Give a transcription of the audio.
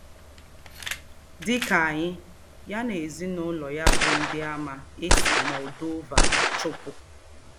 Dị ka anyị, ya na ezinụlọ ya bụ Ndịàmà e si Moldova chụpụ.